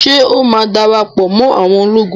Ṣé ó má darapọ̀ mọ́ awọn ológun?